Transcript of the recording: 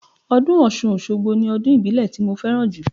Ọdún Ọ̀ṣun Òṣogbo ni ọdún ìbílẹ̀ ti mo fẹ́ràn jù